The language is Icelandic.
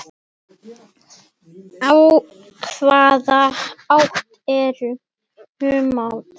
Í hvaða átt er humátt?